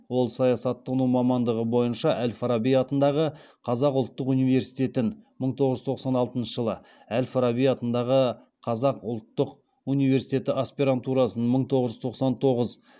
ол саясаттану мамандығы бойынша әл фараби атындағы қазақ ұлттық университетін әл фараби атындағы қазақ ұлттық университеті аспирантурасын